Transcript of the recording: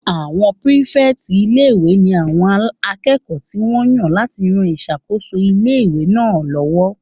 Àwọn pírífẹ̀tì ilé-ìwé ní àwọn akẹ́kọ̀ọ́ tí wọ́n yàn láti ran ìṣàkóso ilé-ìwé náà lọ́wọ́